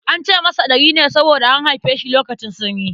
An ce masa Ɗari ne saboda an haife shi lokacin sanyi.